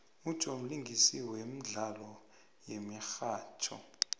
ujoe mlingisi wemdlalo yemihatjho